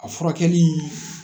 A furakɛli